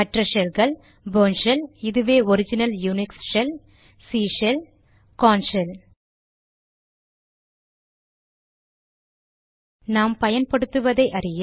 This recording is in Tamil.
மற்ற ஷெல்கள் போர்ன் ஷெல் இதுவே original Unix shell C shell Korn shell நாம் பயன்படுத்துவதை அறிய